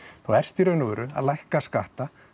þá ertu í raun og veru að lækka skatta